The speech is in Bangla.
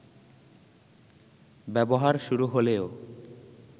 ব্যবহার শুরু হলেও